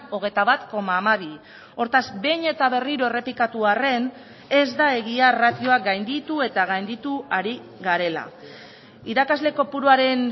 hogeita bat koma hamabi hortaz behin eta berriro errepikatu arren ez da egia ratioa gainditu eta gainditu ari garela irakasle kopuruaren